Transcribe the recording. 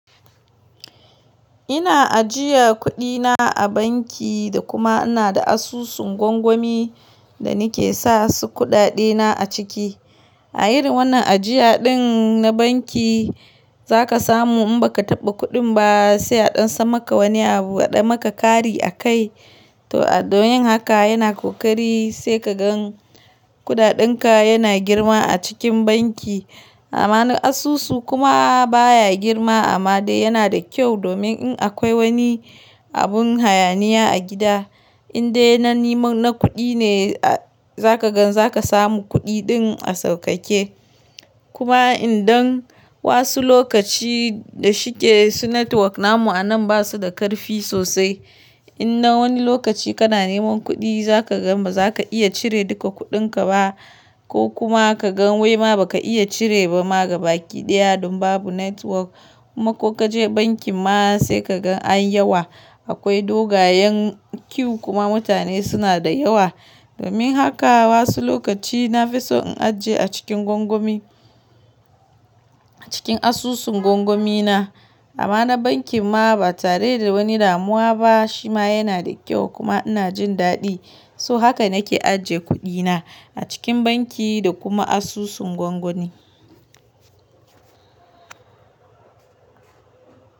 Ina ajiye kuɗina a banki da kuma ina da asusun gwangwami da nake sa su kuɗaɗena a ciki. A yin wannan ajiyaɗin na banki za ka samu in baka taɓa kuɗin ba sai a ɗan sa maka wani abu a ɗan maka kari a kai. To a don yin haka yana ƙoƙari sai ka gan kuɗaɗenka yana girma a cikin banki. Amma na asusu kuma baya girma amma dai yana da kyau domin in akwai wani abun hayaniya a gida, in dai na niman na kuɗi ne za ka gan za ka samu kuɗi ɗin a sauƙaƙe. Kuma idan wasu lokaci da shike su network namu a nan basu da ƙarfi sosai. In na wani lokaci kana neman kuɗi za ka gan baza ka iya cire duka kuɗinka ba ko kuma ka gan wai ma baka iya cire ba ma gaba ki ɗaya don babu network. Kuma ko ka je bankin ma sai ka gan an yawa. Akwai dogayen queue kuma mutane suna da yawa. Domin haka wasu lokaci na fi so in ajiye a cikin gwangwami, a cikin asusun gwangwami na. Amma na bankin ma ba tare da wani damuwa ba shi ma yana da kyau kuma ina jin daɗi. So haka nake ajiye kuɗina a cikin banki da kuma asusun gwangwani.